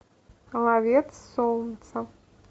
ловец солнца